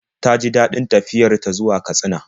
Ta ji daɗin tafiyar ta zuwa Katsina.